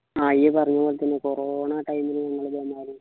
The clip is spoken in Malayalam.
ആഹ് ഈ പറഞ്ഞ പോലെത്തന്നെ corona time ലു നമ്മള് വന്നാല്